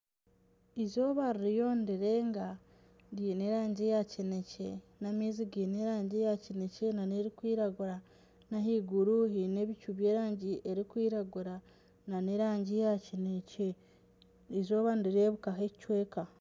Eizooba ririyo nirirenga riine erangi ya kineekye n'amaizi gaine erangi ya kineekye n'erikwiragura n'ahaiguru haine ebicu by'erangi erikwiragura nana erangi ya kineekye eizooba nirireebukaho ekicweka